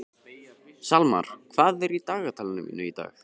Salmar, hvað er í dagatalinu mínu í dag?